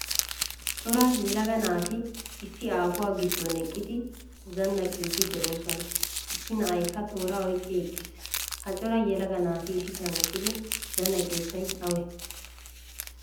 Cora yelaga naati issi aafuwaa giddon eqqidi zannaqidi deosoana. Issi na'aykka tooraa oyqqidi eqqiis. Ha cora yelaga naati issisan eqqidi zannaqiyosay awe?